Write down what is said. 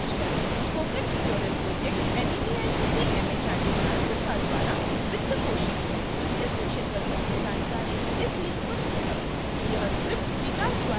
spoken tutorial project NMEICT MHRD Bharat सरकार द्वारा वित्त पोषित है इस mission पर अधिक जानकारी इस link पर उपलब्ध है